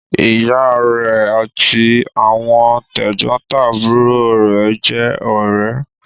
Ìyá rẹ̀ àti àwọn tẹ̀gbọ́ntàbúrò rẹ̀ jẹ́ ọ̀rẹ́.